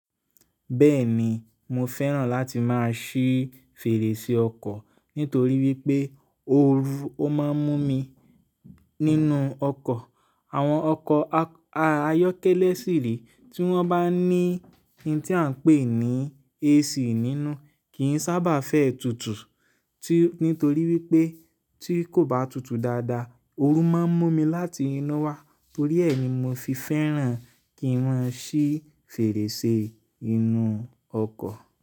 Bẹ́ẹ̀ni mo fẹ́ràn láti máa ṣí fèrèsé ọkọ̀ nítorí wípé ooru máa ń mú mi nínú ọkọ̀. Àwọn ọkọ̀ ayọ́kẹ́lẹ́ sìré tí wọ́n bá ní ohun tí à ń pè ní AC nínú kì ń sábà fẹ́ tutù. Nítorí wípé tí kò bá tutù dáadáa, ooru máa ń mú mi láti inú wá. Torí ẹ ni mo fi fẹ́ràn kí má n ṣí fèrèsé inú ọkọ̀